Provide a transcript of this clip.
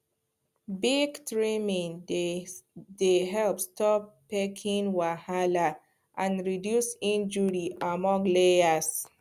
beak trimming dey help stop pecking wahala and reduce injury among layers